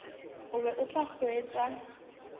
o be o tla hwetša